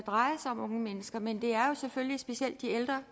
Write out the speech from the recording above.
dreje sig om unge mennesker men det er jo selvfølgelig specielt de ældre